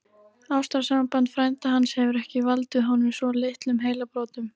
Ástarsamband frænda hans hefur ekki valdið honum svo litlum heilabrotum!